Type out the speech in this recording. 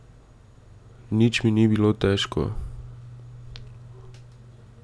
Nič mi ni bilo težko.